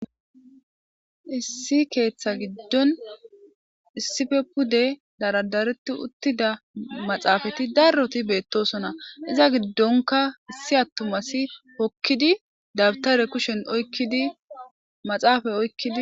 issi keeththa giddon issife pude daradareti uttida maxaafati darroti beettosona iza giddonka issi attumasi hokkidi dabtare kushen idi maxaafay oykkidi